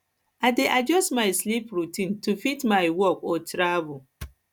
i dey adjust my sleep routine to fit my my work or travel